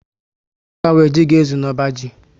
A kà nwere jị ga ezu n'ọbá ji